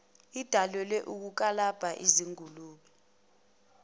edalelwe ukukalabha izingulube